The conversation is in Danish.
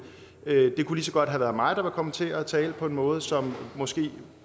det kunne lige så godt have været mig der var kommet til at tale på en måde som måske